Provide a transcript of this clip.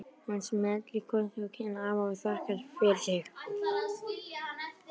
Hún smellir kossi á kinn afa og þakkar fyrir sig.